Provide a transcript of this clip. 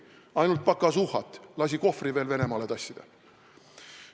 Tema tegi ainult pakasuhat, lasi Kohvri ka veel Venemaale tassida.